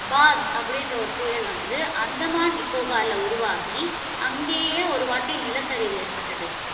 Pop அப்படி என்கிற ஒரு புயல் வந்து, அந்தமான் நிக்கோபார்ல உருவாகி, அங்கேயே ஒருவாட்டி நிலச்சரிவு ஏற்பட்டது.